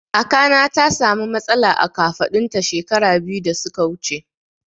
Kakana ta sa mu matsala a kafaɗun ta shekara biyu da suka wuce